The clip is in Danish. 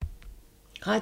Radio 4